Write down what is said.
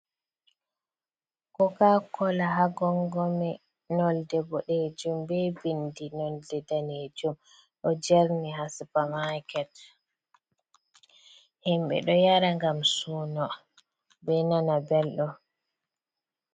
Koka kola ha gongomi nolɗe boɗejum be binɗi nolɗe ɗanejum. Ɗo jerni ha supa maket. Himbe ɗo yara gam suno be nana belɗum.